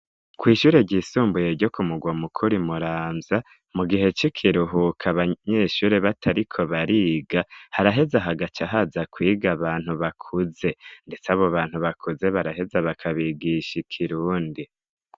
Kw' ishure ry'isumbuye ryo kumugwa mukuru i Muramvya, mu gihe c' ikiruhuko abanyeshuri batariko bariga haraheza hagaca haza kwiga abantu bakuze, ndetse abo bantu bakuze baraheza bakabigisha ikirundi.